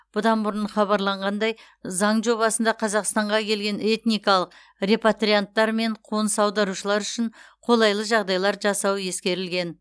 бұдан бұрын хабарланғандай заң жобасында қазақстанға келген этникалық репатрианттар мен қоныс аударушылар үшін қолайлы жағдайлар жасау ескерілген